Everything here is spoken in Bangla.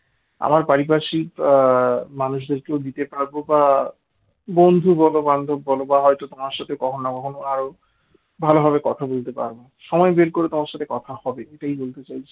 আমার পারিপার্শ্বিক মানুষদের কেউ হয়তো দিতে পারবো বা বন্ধু বল বান্ধব বল বা হয়তো তোমার সাথে কখনো কখনো আরো ভালোভাবে কথা বলতে পারব সময় বের করে তোমার সাথে কথা হবে এটাই বলতে চাইছো